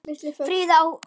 Friður í Asíu.